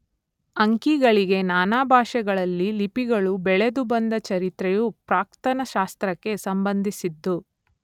ಅಂಕಿಗಳಿಗೆ ನಾನಾ ಭಾಷೆಗಳಲ್ಲಿ ಲಿಪಿಗಳು ಬೆಳೆದು ಬಂದ ಚರಿತ್ರೆಯು ಪ್ರಾಕ್ತನ ಶಾಸ್ತ್ರಕ್ಕೆ ಸಂಬಂಧಿಸಿದ್ದು.